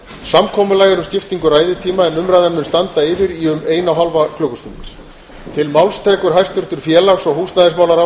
samkomulag er um skiptingu ræðutíma en umræðan mun standa yfir í um eina og